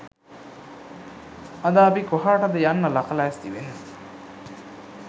අද අපි කොහාටද යන්න ලක ලෑස්ති වෙන්නෙ